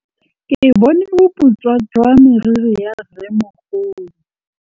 Ke bone boputswa jwa meriri ya rrêmogolo.